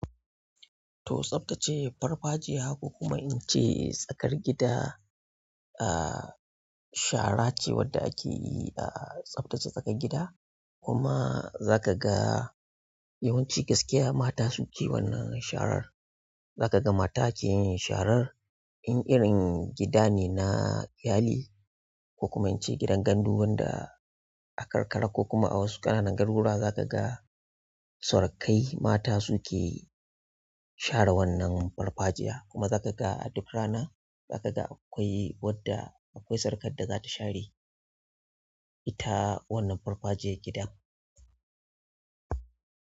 To tsaftace farfajiya, kuma in ce tsakar gida, ah, shara ce wadda ake yi a tsaftace tsakar gida. Kuma zakaga yawanci gaskiya mata suke wannan sharar zakaga mata keyinsharar in irin gidane na iyali kokuma ince gidan gandu wanda a karkara kokuma awasu ƙananan garuruwa zakaga. Cewa kai mata sukeyi share wannan farfajiya kuma za ka ga a duk rana za ka ga akwai wadda akwai surukar da za ta share ita wannan farfajiya gidan.